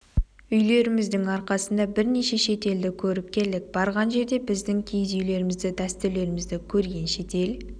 үйлеріміздің арқасында бірнеше шет елді көріп келдік барған жерде біздің киіз үйлерімізді дәстүрлерімізді көрген шетел